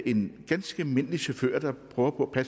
en ganske almindelig chauffør der prøver på at